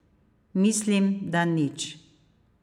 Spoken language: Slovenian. Mislim, da nič.